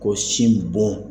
Ko sinbon.